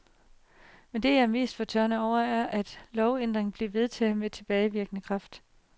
Men det, jeg er mest fortørnet over, er, at lovændringen blev vedtaget med tilbagevirkende kraft.